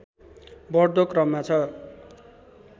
बढ्दो क्रममा छ